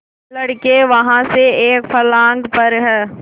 लड़के वहाँ से एक फर्लांग पर हैं